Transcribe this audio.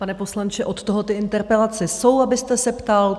Pane poslanče, od toho ty interpelace jsou, abyste se ptal.